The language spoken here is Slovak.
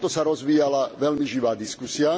Na tomto sa rozvíjala veľmi živá diskusia.